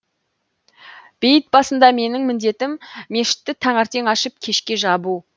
бейіт басында менің міндетім мешітті таңертең ашып кешке жабу